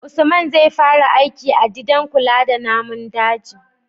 usman zai fara aiki a didan kula da namun daji